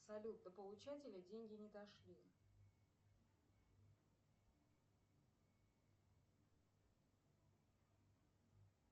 салют до получателя деньги не дошли